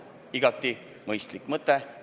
Nii et igati mõistlik eelnõu.